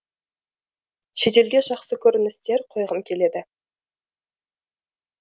шетелге жақсы көріністер қойғым келеді